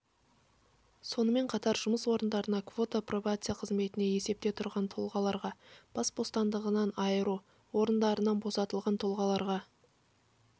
сонымен қатар жұмыс орындарына квота пробация қызметінде есепте тұрған тұлғаларға бас бостандығынан айыру орындарынан босатылған тұлғаларға